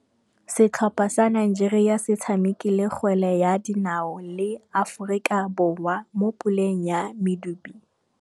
Setlhopha sa Nigeria se tshamekile kgwele ya dinaô le Aforika Borwa mo puleng ya medupe.